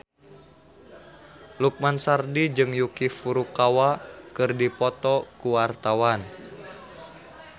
Lukman Sardi jeung Yuki Furukawa keur dipoto ku wartawan